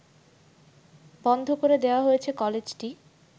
বন্ধ করে দেওয়া হয়েছে কলেজটি